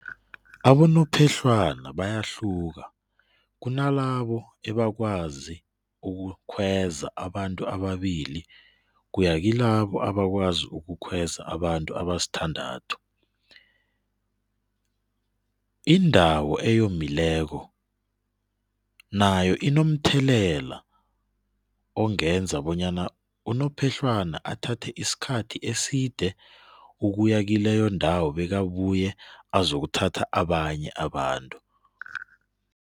Abonophehlwana bayahluka kunalabo ebakwazi ukukhweza abantu ababili kuya kilabo abakwazi ukukhweza abantu abasithandathu. Indawo eyomileko nayo inomthelela ongenza bonyana unophehlwana athathe isikhathi eside ukuya kileyo ndawo bekabuye azokuthatha abanye abantu.